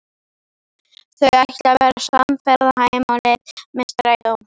Þau ætla að verða samferða heim á leið með strætó.